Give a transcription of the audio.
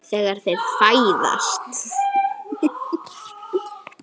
Þegar þeir fæðast